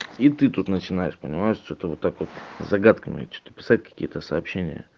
и ты тут начинаешь понимаешь что-то вот так вот загадками что-то писать какие-то сообщение